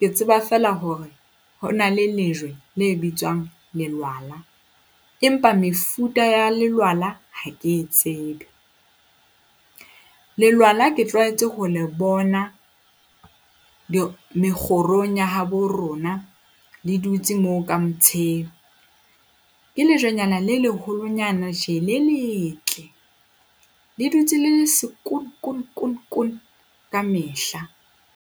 ke tseba feela hore ho na le lejwe le bitswang lelwala, empa mefuta ya lelwala ha ke e tsebe. Lelwala ke tlwaetse ho le bona mekgorong ya habo rona. Le dutse moo ka , ke lejwenyana le leholonyana tjena, le letle. Le dutse le le sekono kono kono kamehla.